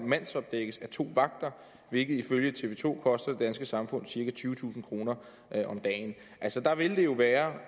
mandsopdækkes af to vagter hvilket ifølge tv to koster det danske samfund cirka tyvetusind kroner om dagen altså der ville det jo være